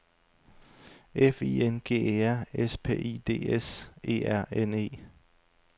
F I N G E R S P I D S E R N E